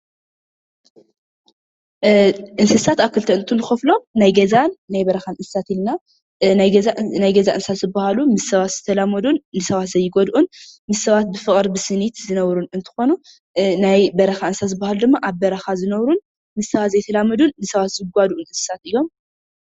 እንስሳት ኣብ ክልተ እንትንከፍሎም ናይ ገዛን በረካን እንስሳት ኢልና ናይ ገዛ እንስሳ ዝበሃሉ ምስ ሰባት ዝተላመዱን ንሰባት ዘይጎድኡን ንሰባት ብፍቅሪ፣ ብስኒት ዝነብሩ እንትኮኑ ናይ በረኻ እንስሳ ዝበሃሉ ድማ ኣብ በረኻ ዝነብሩ ምስ ሰባት ዘይተላመዱን ዝጓድኡ እንስሳ እዮም።